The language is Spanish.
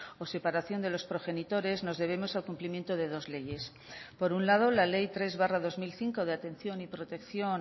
o separación de los progenitores nos debemos al cumplimiento de dos leyes por un lado la ley tres barra dos mil cinco de atención y protección